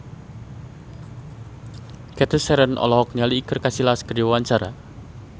Cathy Sharon olohok ningali Iker Casillas keur diwawancara